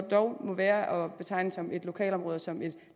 dog være at betegne som et lokalområde og som et